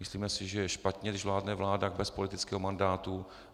Myslíme si, že je špatně, když vládne vláda bez politického mandátu.